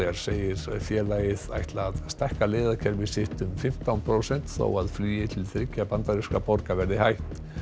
segir félagið ætla að stækka leiðakerfi sitt um fimmtán prósent þó að flugi til þriggja bandarískra borga verði hætt